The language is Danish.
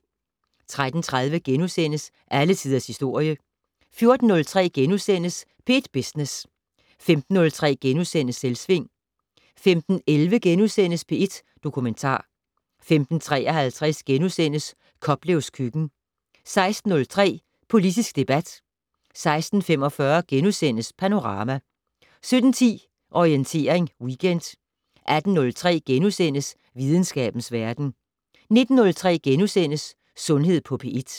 13:30: Alle Tiders Historie * 14:03: P1 Business * 15:03: Selvsving * 15:11: P1 Dokumentar * 15:53: Koplevs køkken * 16:03: Politisk debat 16:45: Panorama * 17:10: Orientering Weekend 18:03: Videnskabens Verden * 19:03: Sundhed på P1 *